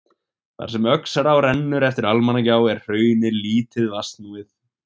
Þar sem Öxará rennur eftir Almannagjá er hraunið lítið vatnsnúið.